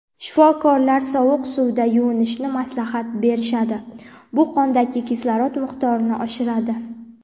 shifokorlar sovuq suvda yuvinishni maslahat berishadi: bu qondagi kislorod miqdorini oshiradi.